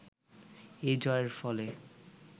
এই জয়ের ফলে